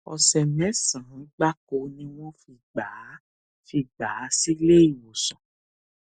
ọsẹ mẹsànán gbáko ni wọn fi gbà á fi gbà á sílé ìwòsàn